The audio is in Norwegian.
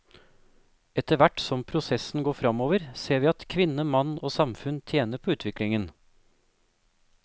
Etterhvert som prosessen går fremover, ser vi at kvinne, mann og samfunn tjener på utviklingen.